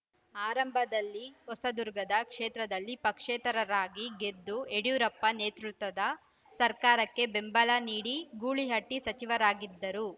ಆರಂಭದಲ್ಲಿ ಹೊಸದುರ್ಗದ ಕ್ಷೇತ್ರದಲ್ಲಿ ಪಕ್ಷೇತರರರಾಗಿ ಗೆದ್ದು ಯಡಿಯೂರಪ್ಪ ನೇತೃತ್ವದ ಸರ್ಕಾರಕ್ಕೆ ಬೆಂಬಲ ನೀಡಿ ಗೂಳಿಹಟ್ಟಿಸಚಿವರಾಗಿದ್ದರು